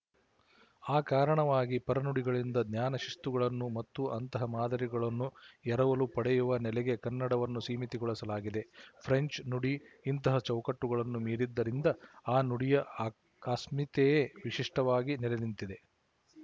ಆ ಕಾರಣವಾಗಿ ಪರನುಡಿಗಳಿಂದ ಜ್ಞಾನಶಿಸ್ತುಗಳನ್ನು ಮತ್ತು ಅಂತಹ ಮಾದರಿಗಳನ್ನು ಎರವಲು ಪಡೆಯುವ ನೆಲೆಗೆ ಕನ್ನಡವನ್ನು ಸೀಮಿತಗೊಳಿಸಲಾಗಿದೆ ಫ್ರೆಂಚ್ ನುಡಿ ಇಂತಹ ಚೌಕಟ್ಟುಗಳನ್ನು ಮೀರಿದ್ದರಿಂದ ಆ ನುಡಿಯ ಆ ಅಸ್ಮಿತೆಯೇ ವಿಶಿಷ್ಟವಾಗಿ ನೆಲೆನಿಂತಿದೆ